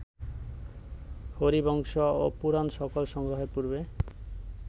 হরিবংশ ও পুরাণ সকল সংগ্রহের পূর্বে